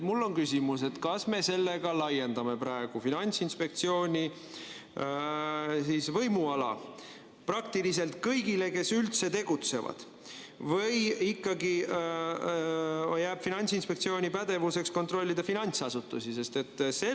Mul on küsimus: kas me sellega laiendame Finantsinspektsiooni võimuala praktiliselt kõigile, kes üldse tegutsevad, või jääb Finantsinspektsiooni pädevusse kontrollida ikkagi finantsasutusi?